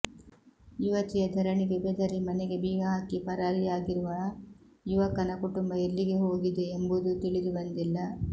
ಯುವತಿಯ ಧರಣಿಗೆ ಬೆದರಿ ಮನೆಗೆ ಬೀಗ ಹಾಕಿ ಪರಾರಿಯಾಗಿರುವ ಯುವಕನ ಕುಟುಂಬ ಎಲ್ಲಿಗೆ ಹೋಗಿದೆ ಎಂಬುದೂ ತಿಳಿದುಬಂದಿಲ್ಲ